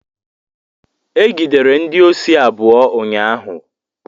Egidere ndị osi abụọ ụnyaahụ.